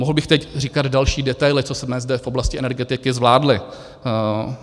Mohl bych teď říkat další detaily, co jsme zde v oblasti energetiky zvládli.